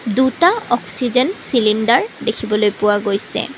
দুটা oxygen cylinder দেখিবলৈ পোৱা গৈছে।